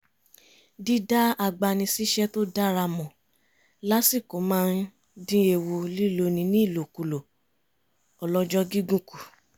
dídá agbanisíṣẹ́ tó dára mọ̀ lásìkò máa ń dín ewu líloni ní ìlòkulòn ọlọ́jọ́ gígùn kù